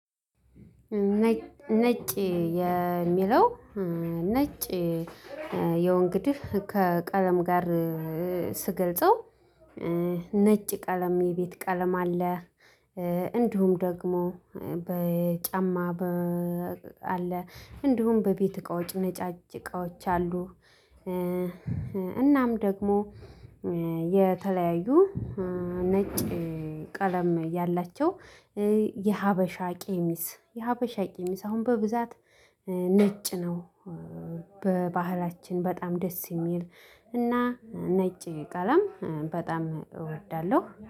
ነጭ የሚለው ነጭ ያው እንግድህ ከቀለም ጋር ስገልጸው ነጭ ቀለም የቤት ቀለም አለ እንዲሁም ደግሞ በጨማ አለ እንዲሁም በቤት እቃዎች ነጫጭ እቃዎች አሉ፣ እናም ደግሞ የተለያዩ ነጭ ቀለም ያላቸው የሀበሻ ቀሚስ የሀበሻ ቀሚስ አሁን በብዛት ነጭ ነው። በባህላችን በጣም ደስ የሚል እና ነጭ ቀለም በጣም እወዳለሁ።